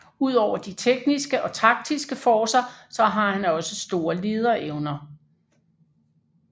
Udover de tekniske og taktiske forcer så har han også store lederevner